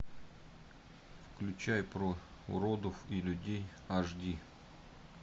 включай про уродов и людей аш ди